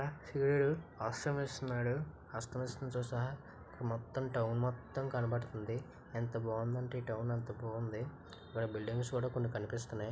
సూరీడు అస్తమిస్తున్నాడు అస్తమిస్తు సహా మొత్తం టౌన్ మొత్తం కనబడుతుంది ఎంత బాగుంది అంటే టౌన్ అంత బాగుంది ఇక్కడ బిల్డింగ్స్ కూడా కొన్ని కనిపిస్తున్నాయి.